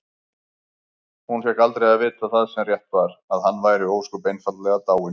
Hún fékk aldrei að vita það sem rétt var: að hann væri ósköp einfaldlega dáinn.